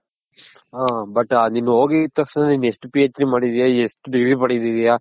ಹ but ನೀನ್ ಹೋಗಿದ್ ತಕ್ಷಣ ನೀನ್ ಎಷ್ಟ್ PhD ಮಾಡಿದ್ಯ ಎಷ್ಟ್ Degree ಮಾಡಿದ್ಯ.